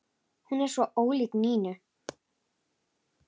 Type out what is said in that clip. Hún var svo ólík Nínu.